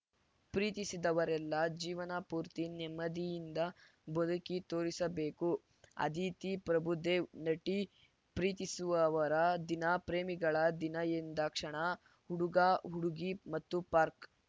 ಪ್ರೀತಿಸಿದವರೆಲ್ಲ ಜೀವನ ಪೂರ್ತಿ ನೆಮ್ಮದಿಯಿಂದ ಬದುಕಿ ತೋರಿಸಬೇಕು ಅದಿತಿ ಪ್ರಭುದೇವ್‌ ನಟಿ ಪ್ರೀತಿಸುವವರ ದಿನ ಪ್ರೇಮಿಗಳ ದಿನ ಎಂದಾಕ್ಷಣ ಹುಡುಗಹುಡುಗಿ ಮತ್ತು ಪಾರ್ಕ್